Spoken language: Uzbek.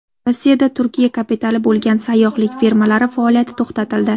Rossiyada Turkiya kapitali bo‘lgan sayyohlik firmalari faoliyati to‘xtatildi.